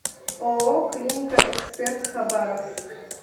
ооо клиника эксперт хабаровск